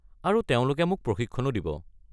আৰু তেওঁলোকে মোক প্ৰশিক্ষণো দিব।